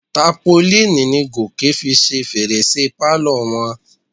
Tápolíìnì ni Gòkè fi ṣe fèrèsé pálọ̀ wọn.